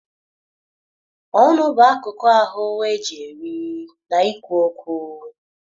Ọnụ bụ akụkụ ahụ eji eri na ikwu okwu